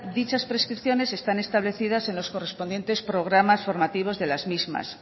dichas prestaciones están establecidas en los correspondientes programas formativos de las mismas